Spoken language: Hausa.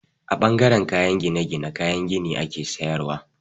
A ɓangaren kayan gine-gine, kayan gini ake sayarwa.